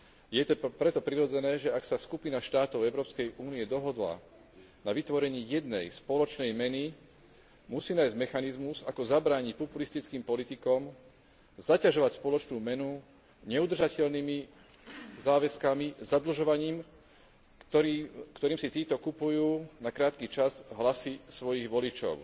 Je preto prirodzené, že ak sa skupina štátov Európskej únie dohodla na vytvorení jednej spoločnej meny, musí nájsť mechanizmus, ako zabrániť populistickým politikom zaťažovať spoločnú menu neudržateľnými záväzkami zadlžovaním, ktorým si títo kupujú na krátky čas hlasy svojich voličov.